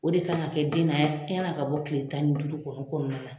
O de kan ka kɛ den na yanni a ka bɔ tile tan ni duuru kɔnɔ kɔnɔna na.